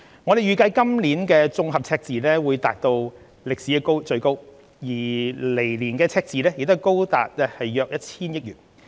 我們預計今年的綜合赤字會達至歷來最高，而來年的赤字亦高達約 1,000 億元。